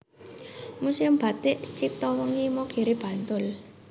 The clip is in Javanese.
Muséum Batik Ciptowening Imogiri Bantul